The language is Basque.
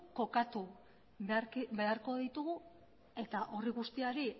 kokatu beharko ditugu eta horri guztiari